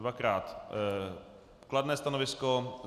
Dvakrát kladné stanovisko.